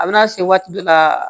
A bɛna se waati dɔ la